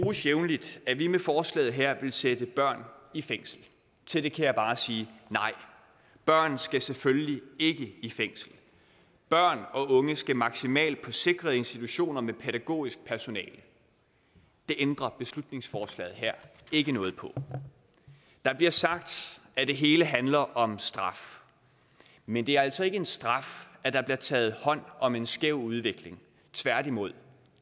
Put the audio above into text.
jævnligt at vi med forslaget her vil sætte børn i fængsel til det kan jeg bare sige nej børn skal selvfølgelig ikke i fængsel børn og unge skal maksimalt på sikrede institutioner med pædagogisk personale det ændrer beslutningsforslaget her ikke noget på der bliver sagt at det hele handler om straf men det er altså ikke en straf at der bliver taget hånd om en skæv udvikling tværtimod